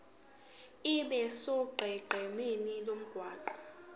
abe sonqenqemeni lomgwaqo